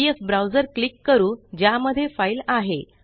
PDF browser click करू ज्यामध्ये file आहे